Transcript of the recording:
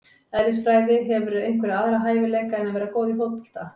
Eðlisfræði Hefurðu einhverja aðra hæfileika en að vera góð í fótbolta?